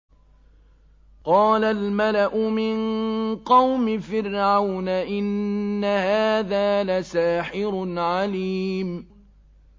قَالَ الْمَلَأُ مِن قَوْمِ فِرْعَوْنَ إِنَّ هَٰذَا لَسَاحِرٌ عَلِيمٌ